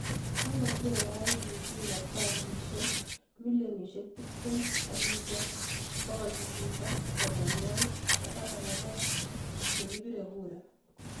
Kokocher IEBC kartasishek 20,812,000 che kipiree kura.